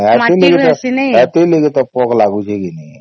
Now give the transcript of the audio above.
ଏଠି ଲାଗି ତ ଏଠି ଲାଗି ତ ପୋକ ଲାଗୁଛେ କେ ନାଇଁ